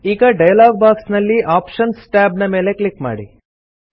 ಈಗ dialog box ನಲ್ಲಿ options tab ನ ಮೇಲೆ ಕ್ಲಿಕ್ ಮಾಡಿ